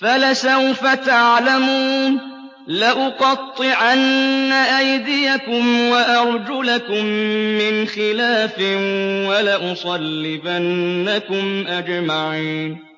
فَلَسَوْفَ تَعْلَمُونَ ۚ لَأُقَطِّعَنَّ أَيْدِيَكُمْ وَأَرْجُلَكُم مِّنْ خِلَافٍ وَلَأُصَلِّبَنَّكُمْ أَجْمَعِينَ